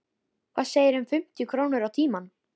Hvað segirðu um fimmtíu krónur á tímann?